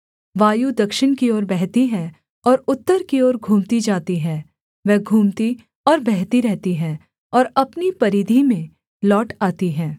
वायु दक्षिण की ओर बहती है और उत्तर की ओर घूमती जाती है वह घूमती और बहती रहती है और अपनी परिधि में लौट आती है